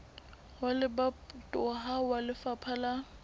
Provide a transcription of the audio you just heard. wa lebatowa wa lefapha la